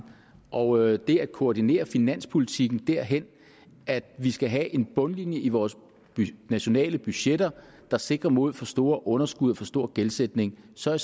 og det at koordinere finanspolitikken derhen at vi skal have en bundlinje i vores nationale budgetter der sikrer mod for store underskud og for stor gældsætning så er